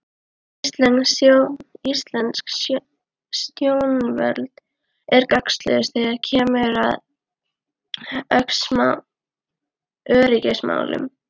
Íslensk stjórnvöld er gagnslaus þegar kemur að öryggismálum.